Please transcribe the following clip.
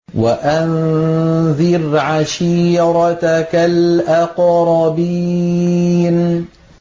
وَأَنذِرْ عَشِيرَتَكَ الْأَقْرَبِينَ